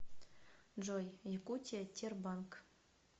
джой якутия тербанк